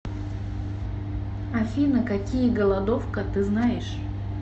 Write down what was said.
афина какие голодовка ты знаешь